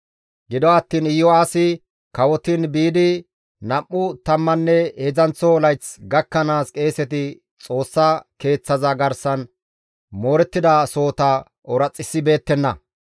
Gido attiin Iyo7aasi kawotiin biidi nam7u tammanne heedzdzanththo layththi gakkanaas qeeseti Xoossa Keeththaza garsan moorettida sohota ooraxissibeettenna.